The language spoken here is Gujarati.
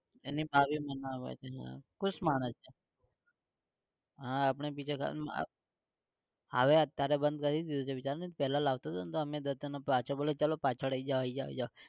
એની ખુશ માણસ છે. હા આપણે બીજે, હવે અત્યારે બંધ કરી દીધું છે બીજાને પહેલા લાવતો હતો ને તો અમે બધાને પાછો બોલાઈ ચલો પાછળ આઈ જાવ આઈ જાવ આઈ જાવ